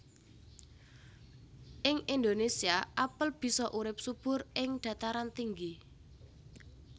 Ing Indonésia apel bisa urip subur ing dhataran tinggi